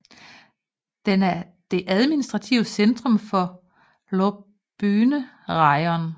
Den er det administrative centrum for Hlobyne rajon